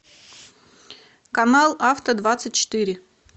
канал авто двадцать четыре